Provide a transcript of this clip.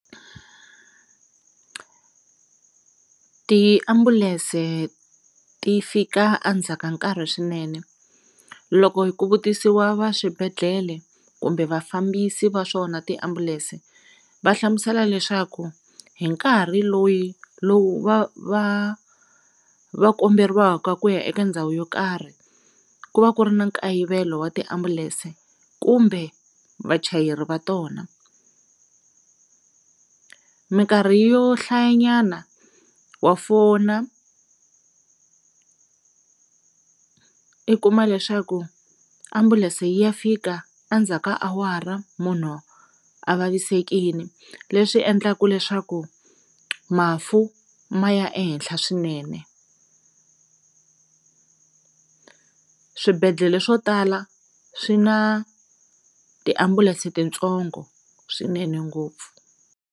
Tiambulense ti fika a ndzha ka nkarhi swinene loko ku vutisiwa va swibedhlele kumbe vafambisi va swona tiambulense va hlamusela leswaku hi nkarhi lowi lowu va va va komberiwaka ku ya eka ndhawu yo karhi ku va ku ri na nkayivelo wa tiambulense kumbe vachayeri va tona. Minkarhi yo hlaya nyana wa fona i kuma leswaku ambulense yi ya fika a ndzhaku ka awara munhu a vavisekini leswi endlaka leswaku mafu ma ya ehenhla swinene, swibedhlele swo tala swi na tiambulense titsongo swinene ngopfu.